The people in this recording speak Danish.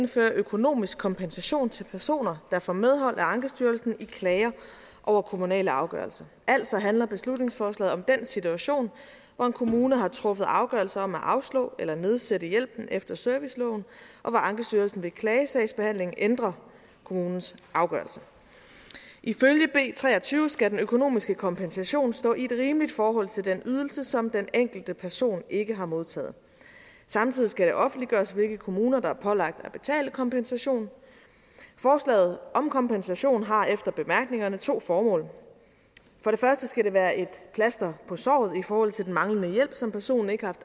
indføre økonomisk kompensation til personer der får medhold af ankestyrelsen i klager over kommunale afgørelser altså handler beslutningsforslaget om den situation hvor en kommune har truffet afgørelse om at afslå eller nedsætte hjælpen efter serviceloven og hvor ankestyrelsen ved klagesagsbehandlingen ændrer kommunens afgørelse ifølge b tre og tyve skal den økonomiske kompensation stå i et rimeligt forhold til den ydelse som den enkelte person ikke har modtaget samtidig skal det offentliggøres hvilke kommuner der er pålagt at betale kompensation forslaget om kompensation har efter bemærkningerne to formål for det første skal det være et plaster på såret i forhold til den manglende hjælp som personen ikke har